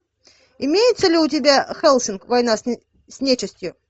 имеется ли у тебя хеллсинг война с нечистью